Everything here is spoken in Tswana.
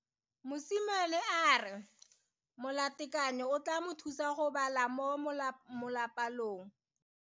Mosimane a re molatekanyô o tla mo thusa go bala mo molapalong.